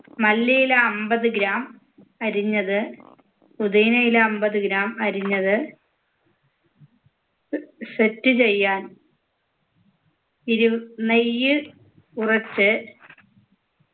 മല്ലിയില അമ്പത് gram അരിഞ്ഞത് പൊതീനയില അമ്പത് gram അരിഞ്ഞത് set ചെയ്യാൻ ഇതു നെയ്യിൽ കുറച്ച്